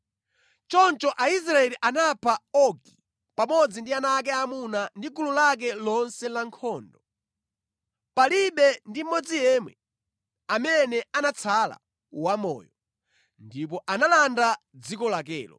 Choncho Aisraeli anapha Ogi pamodzi ndi ana ake aamuna ndi gulu lake lonse la nkhondo. Palibe ndi mmodzi yemwe amene anatsala wamoyo, ndipo analanda dziko lakelo.